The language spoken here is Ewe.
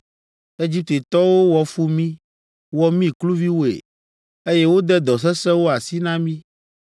Egiptetɔwo wɔ fu mí, wɔ mí kluviwoe, eye wode dɔ sesẽwo asi na mí.